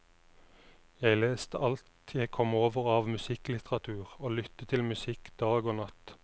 Jeg leste alt jeg kom over av musikklitteratur og lyttet til musikk dag og natt.